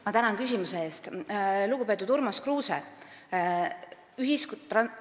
Ma tänan küsimuse eest, lugupeetud Urmas Kruuse!